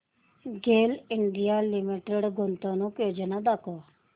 गेल India limited गुंतवणूक योजना दाखव